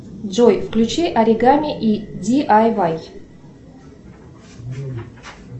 джой включи оригами и ди ай вай